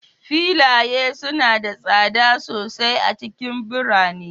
Filaye suna da tsada sosai a cikin birane